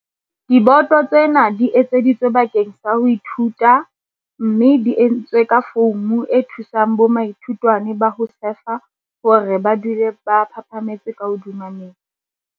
Diboto tsena di etseditswe bakeng sa ho ithuta mme di entswe ka foumu e thusang bomaithutwane ba ho sefa hore ba dule ba phaphametse ka hodima metsi.